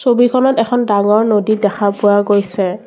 ছবিখনত এখন ডাঙৰ নদী দেখা পোৱা গৈছে।